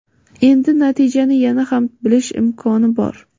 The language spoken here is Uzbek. Endi natijani yana ham tez bilish imkoni bor.